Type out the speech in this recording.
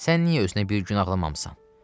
Sən niyə özünə bir gün ağlamamısan?